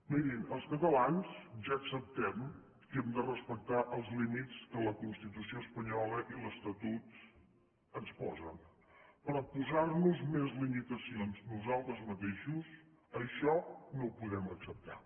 mirin els catalans ja acceptem que hem de respectar els límits que la constitució espanyola i l’estatut ens posen però posar nos més limitacions nosaltres mateixos això no ho podem acceptar